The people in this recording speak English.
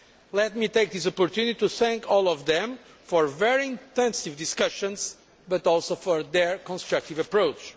Let me take this opportunity to thank all of them for very intensive discussions, but also for their constructive approach.